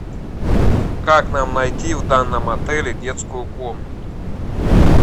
как нам найти в данном отеле детскую комнату